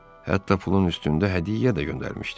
Hətta pulun üstündə hədiyyə də göndərmişdi.